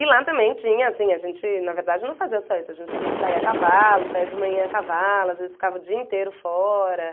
E lá também tinha, assim, a gente na verdade não fazia só isso, a gente saia a cavalo, saia de manhã a cavalo, às vezes ficava o dia inteiro fora.